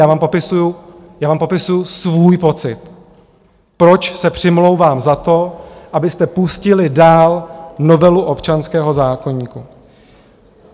Já vám popisuju svůj pocit, proč se přimlouvám za to, abyste pustili dál novelu občanského zákoníku.